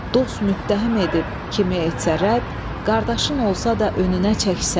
Dost müttəhim edib kimi etsə rədd, qardaşın olsa da önünə çək sədd.